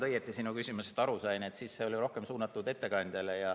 Kui ma sinu küsimusest õigesti aru sain, siis see oli rohkem suunatud ettekandjale.